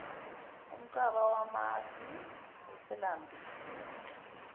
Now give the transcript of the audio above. umcaba wamasi uselambile